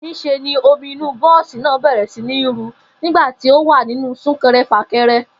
Nís̩e ni omi inú bó̩ò̩sì náà bè̩rè̩ sí ní ru nígbà tí a wà nínú súnke̩re̩-fàke̩re̩